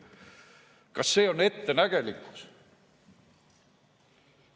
Kas see on ettenägelikkus?